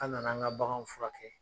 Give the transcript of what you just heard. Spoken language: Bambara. An' nana an ŋa baganw furakɛ.